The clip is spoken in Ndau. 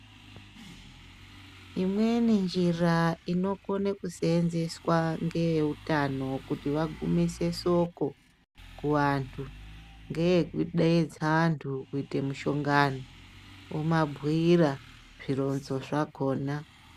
Imweni njira inokone kusenzeswa ngeeutano kuti vagumise soko kuvantu. Ngee kudedza antu kuite mushongano vomabhuira zvironzo zvakona.